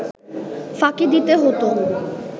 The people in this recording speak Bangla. ফাঁকি দিতে হতো